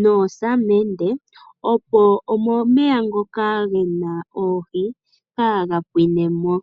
noosamende opo omeya ngoka gena oohi kaga pwine mo.